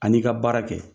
A n'i ka baara kɛ